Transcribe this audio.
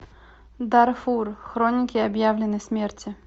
дарфур хроники объявленной смерти